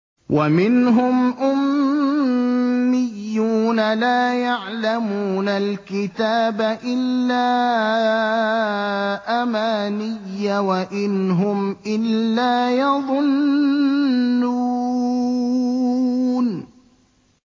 وَمِنْهُمْ أُمِّيُّونَ لَا يَعْلَمُونَ الْكِتَابَ إِلَّا أَمَانِيَّ وَإِنْ هُمْ إِلَّا يَظُنُّونَ